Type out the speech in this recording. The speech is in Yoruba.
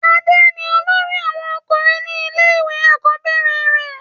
adé ni olórí àwọn ọkùnrin ní ilé ìwé àkọ́bẹ̀rẹ̀ rẹ̀